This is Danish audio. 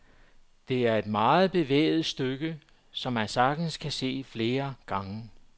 Det er et meget bevægende stykke, som man sagtens kan se flere gange.